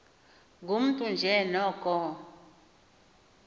ngumntu nje noko